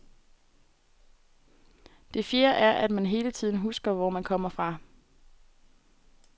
Det fjerde er, at man hele tiden husker, hvor man kommer fra.